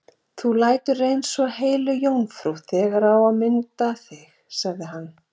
Þú lætur eins og heilög jómfrú þegar á að mynda þig, sagði hann.